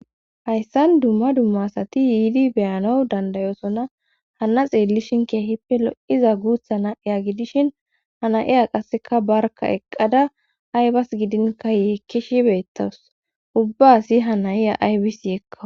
hayssan dumma dumma asati yiidi beyano dandayosona hana xeellishin kea hippe lo 7iza guutha na eya gidishin hana7iya qasseka barka eqqada aybas gidinka yeekkishi beettawus ubbaasi hanayiya aybis yekkaw